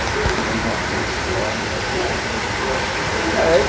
Então, a sua mã, a sua avó era a melhor de comida brasileira, de arroz e. É